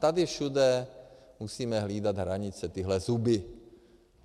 Tady všude musíme hlídat hranice, tyhle zuby.